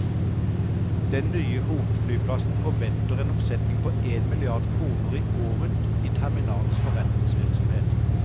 Den nye hovedflyplassen forventer en omsetning på en milliard kroner i året i terminalens forretningsvirksomhet.